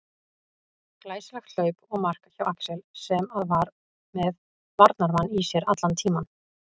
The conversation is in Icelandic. Glæsilegt hlaup og mark hjá Axel sem að var með varnarmann í sér allan tímann.